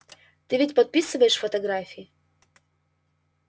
ты ведь подписываешь фотографии